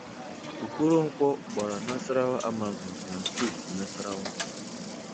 Okoronkwo gbara Nasarawa Amazons na steeti Nasarawa.